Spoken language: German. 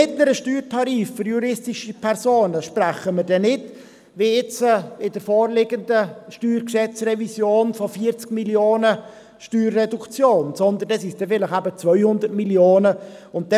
Bei einem mittleren Steuertarif für juristische Personen sprechen wir nicht, wie jetzt in der vorliegenden Revision des Steuergesetzes (StG), von einer Steuerreduktion von 40 Mio. Franken, sondern dann werden es vielleicht 200 Mio. Franken sein.